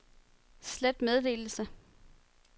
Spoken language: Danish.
slet meddelelse